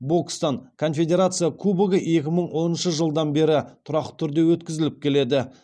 бокстан конфедерация кубогы екі мың оныншы жылдан бері тұрақты түрде өткізіліп келеді